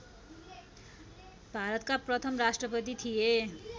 भारतका प्रथम राष्ट्रपति थिए